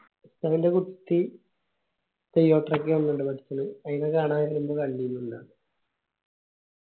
ഉസ്താദിന്റെ കുട്ടി ഒക്കെ വന്നിണ്ട്‌ ല് അയിന കാണാൻ വരുമ്പൊ കണ്ടിന് ഇന്നാ